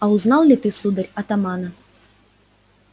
а узнал ли ты сударь атамана